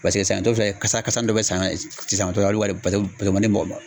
Paseke saɲɔn tɔ filɛ nin ye kasa kasa dɔɔni bɛ saɲɔn sisan o tɔla olu hali paseke paseke o mandi mɔgɔ ma